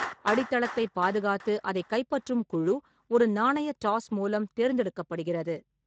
அடித்தளத்தை பாதுகாத்து அதை கைப்பற்றும் குழு ஒரு நாணய டாஸ் மூலம் தேர்ந்தெடுக்கப்படுகிறது.